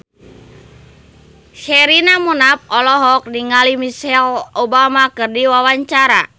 Sherina Munaf olohok ningali Michelle Obama keur diwawancara